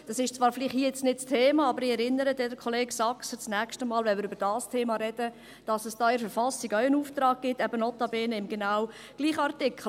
Das ist zwar hier vielleicht nicht das Thema, aber ich erinnere Kollege Saxer das nächste Mal, wenn wir über dieses Thema reden, dass es da in der Verfassung auch einen Auftrag gibt, eben notabene im genau gleichen Artikel.